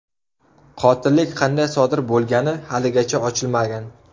Qotillik qanday sodir bo‘lgani haligacha ochilmagan.